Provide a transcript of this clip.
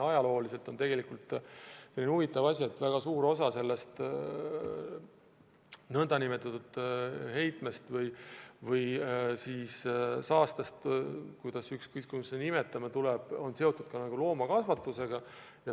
Ajalooliselt on tegelikult selline huvitav asi, et väga suur osa sellest heitmest või saastast –ükskõik, kuidas me seda nimetame – on seotud loomakasvatusega.